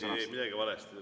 Te ei teinud midagi valesti.